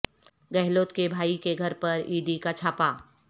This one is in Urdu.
گہلوت کے بھائی کے گھرپر ای ڈی کا چھاپہ